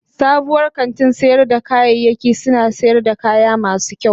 Sabuwar kantin sayar da kayayyaki suna sayar da kaya masu kyau.